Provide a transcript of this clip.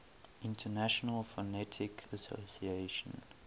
international phonetic association